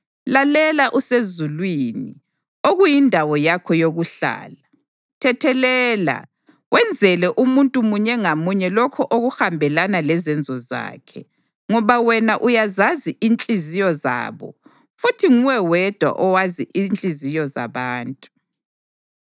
lalela usezulwini, okuyindawo yakho yokuhlala. Thethelela, wenzele umuntu munye ngamunye lokho okuhambelana lezenzo zakhe, ngoba wena uyazazi inhliziyo zabo (futhi nguwe wedwa owazi inhliziyo zabantu),